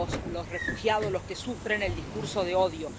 los refugiados, los que sufren el discurso de odio.